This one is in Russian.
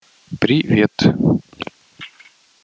привет